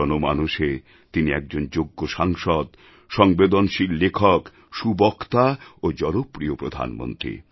জনমানসে তিনি একজন যোগ্য সাংসদ সংবেদনশীল লেখক সুবক্তা ও জনপ্রিয় প্রধানমন্ত্রী